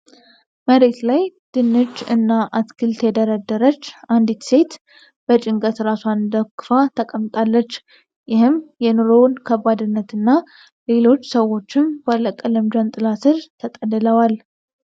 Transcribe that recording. መሬት ላይ ድንች እና አትክልት የደረደረች አንዲት ሴት በጭንቀት ራሷን ደግፋ ተቀምጣለች፤ ይህም የኑሮን ከባድነት እና ሌሎች ሰዎችም ባለቀለም ጃንጥላ ስር ተጠልለዋል።